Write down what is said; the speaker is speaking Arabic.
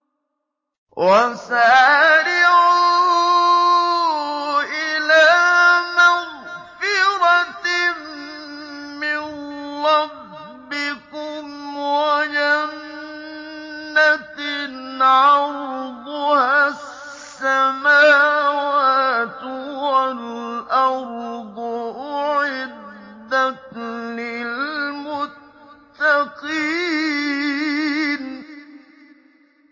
۞ وَسَارِعُوا إِلَىٰ مَغْفِرَةٍ مِّن رَّبِّكُمْ وَجَنَّةٍ عَرْضُهَا السَّمَاوَاتُ وَالْأَرْضُ أُعِدَّتْ لِلْمُتَّقِينَ